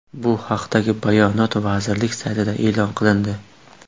Bu haqdagi bayonot vazirlik saytida e’lon qilindi .